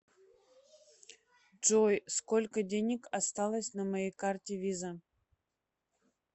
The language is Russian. джой сколько денег осталось на моей карте виза